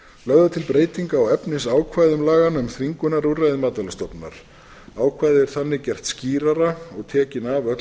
lögð er til breyting á efnisákvæðum laganna um þvingunarúrræði matvælastofnunar ákvæðið er þannig gert skýrara og tekin af öll